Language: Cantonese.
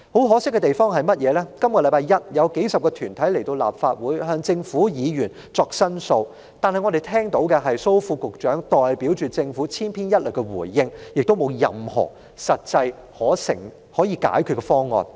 可惜的是，在本周一，當數十個團體前來立法會向政府及議員申訴時，我們只聽到蘇副局長代表政府千篇一律的回應，沒有任何實際的解決方案。